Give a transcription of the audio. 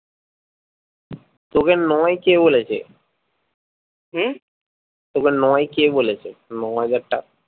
তোকে নয় কে বলেছে হম তোকে নয় কে বলেছে নয় হাজারটা